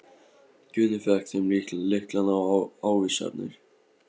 Guðni fékk þeim lyklana og ávísanirnar.